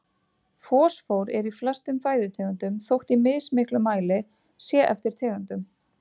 Fosfór er í flestum fæðutegundum þótt í mismiklum mæli sé eftir tegundum.